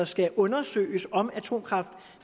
skal undersøges om atomkraft